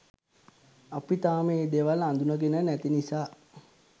අපි තාම ඒ දේවල් අඳුනගෙන නැති නිසා